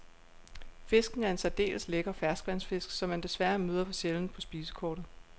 Fisken er en særdeles lækker ferskvandsfisk, som man desværre møder for sjældent på spisekortet.